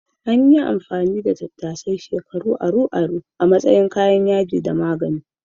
An yi amfani da tattasai shekaru aru-aru a matsayin kayan yaji da magani.